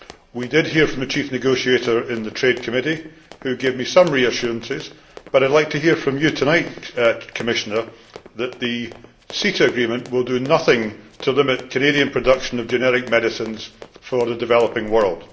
We did hear from the chief negotiator in the Committee on International Trade, who gave me some reassurances, but I would like to hear from you tonight, Commissioner, that the CETA agreement will do nothing to limit Canadian production of generic medicines for the developing world.